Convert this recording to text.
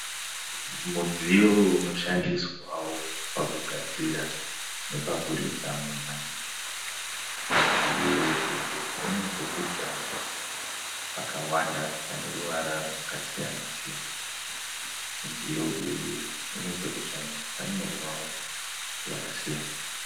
Mudziyo unoshandiswawo pakugadzira nepakuridza mumba. Mudziyo uyu une pekudzvanya pakawanda pane ruvara rwakasiyana-siyana. Mudziyo uyu une pekudzvanya pakanyorwawo zvakasiyana.